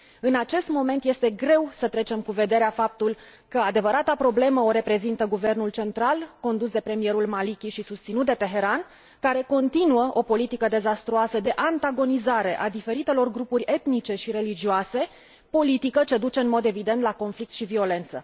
În acest moment, este greu să trecem cu vederea faptul că adevărata problemă o reprezintă guvernul central, condus de premierul Maliki și susținut de Teheran, care continuă o politică dezastruoasă de antagonizare a diferitelor grupuri etnice și religioase, politică ce duce în mod evident la conflict și violență.